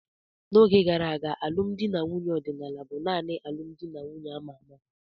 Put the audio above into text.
N'oge gara aga, alụmdi na nwunye ọdịnala bụ nanị alụmdi na nwunye a ma ama.